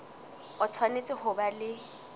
o tshwanetse ho ba le